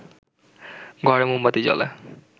ঘরে মোমবাতি জ্বলে